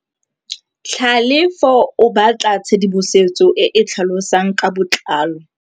Tlhalefô o batla tshedimosetsô e e tlhalosang ka botlalô.